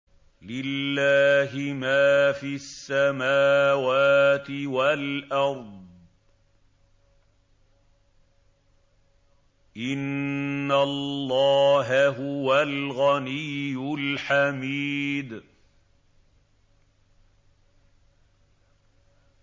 لِلَّهِ مَا فِي السَّمَاوَاتِ وَالْأَرْضِ ۚ إِنَّ اللَّهَ هُوَ الْغَنِيُّ الْحَمِيدُ